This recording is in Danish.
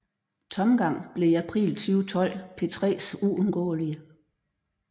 Tomgang blev i april 2012 P3s uundgåelige